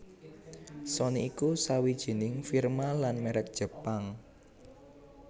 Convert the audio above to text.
Sony iku sawijining firma lan mèrek Jepang